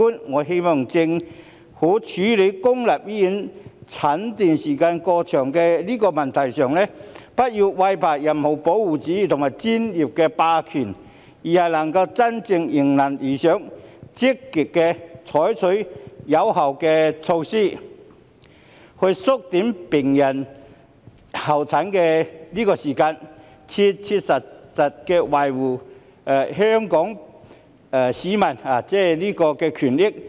我希望政府處理公立醫院候診時間過長的問題上，不要懼怕任何保護主義及專業霸權，而是能夠真正做到迎難而上，積極採取有效的措施，以縮短病人的候診時間，切切實實地維護香港市民的權益。